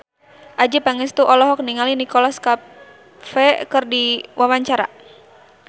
Adjie Pangestu olohok ningali Nicholas Cafe keur diwawancara